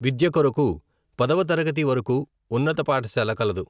విద్య కొరకు పదవ తరగతి వరకూ ఉన్నత పాఠశాల కలదు.